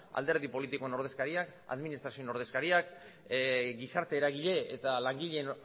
alderdi politikoen ordezkariak administrazioaren ordezkariak gizarte eragile eta langileen